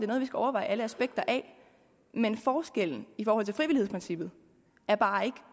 noget vi skal overveje alle aspekter af men forskellen i forhold til frivillighedsprincippet er bare ikke